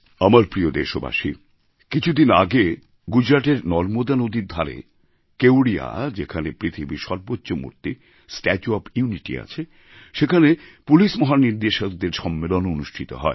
আমার প্রিয় দেশবাসী কিছু দিন আগে গুজরাটের নর্মদা নদীর ধারে কেওড়িয়া যেখানে পৃথিবীর সর্বোচ্চ মূর্তি স্ট্যাচু ওএফ ইউনিটি আছে সেখানে পুলিশ মহানির্দেশকদের সম্মেলন অনুষ্ঠিত হয়